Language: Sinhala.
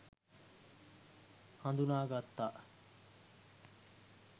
හඳුනා ගත්තා.